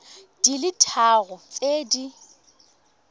di le tharo tse di